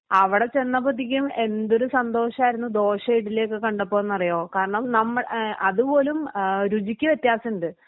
അവിടെ ചെന്നപ്പത്തേക്കും എന്തൊരു സന്തോഷാരുന്നു ദോശ ഇഡ്ഡലി ഒക്കെ കണ്ടപ്പോന്നറിയോ? കാരണം നമ്മടെ ഏഹ് അതുപോലും ഏഹ് രുചിക്ക് വ്യത്യാസണ്ട്.